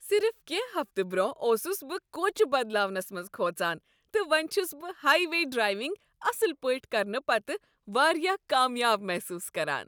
صرف کینٛہہ ہفتہٕ برۄنہہ اوسس بہٕ کوچِہ بدلاونس منز کھوژان، تہٕ وۄنۍ چھس بہٕ ہائی وے ڈرائیونگ اصل پٲٹھۍ کرنہٕ پتہٕ واریاہ کامیاب محسوس کران!